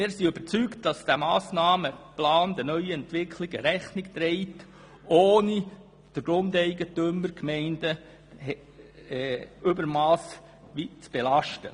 Wir sind überzeugt, dass dieser Massnahmenplan den neuen Entwicklungen Rechnung trägt, ohne dass er die Grundeigentümer und die Gemeinden übermässig belastet.